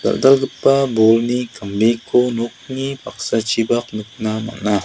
dal·dalgipa bolni kambeko nokni paksachipak nikna man·a.